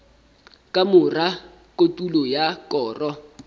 ka mora kotulo ya koro